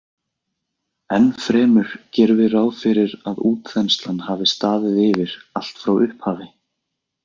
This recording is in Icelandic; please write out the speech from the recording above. Ennfremur gerum við ráð fyrir að útþenslan hafi staðið yfir allt frá upphafi.